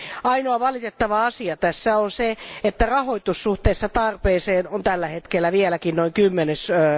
Ainoa valitettava asia tässä on se, että rahoitus suhteessa tarpeeseen on tällä hetkellä vieläkin noin kymmenesosa.